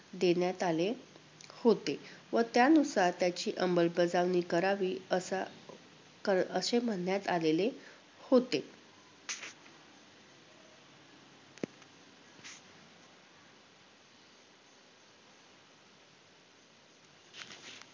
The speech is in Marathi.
देण्यात आले होते व त्यानुसार त्याची अंमलबजावणी करावी असा अं असे म्हणण्यात आलेले होते.